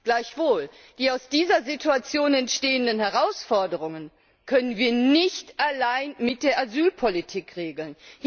Gleichwohl, die aus dieser Situation entstehenden Herausforderungen können wir nicht allein mit der Asylpolitik regeln.